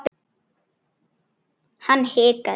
Hann hikaði.